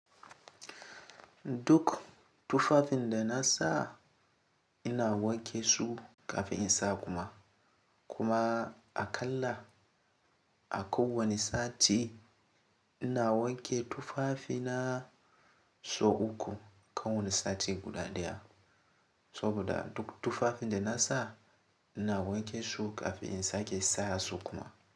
Duk tufafin da na sa ina wanke su kafin in sa kuma. Kuma a kalla a kowane sati ina wanke tufafina, sau uku kan wani sati guda daya. Saboda duk tufafin da na sa ina wanke su kafin in sake saa su kuma.